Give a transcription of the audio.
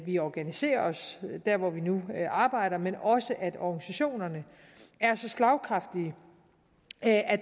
vi organiserer os der hvor vi nu arbejder men også at organisationerne er så slagkraftige at